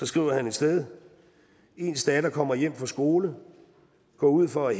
skriver et sted ens datter kommer hjem fra skolegår ud for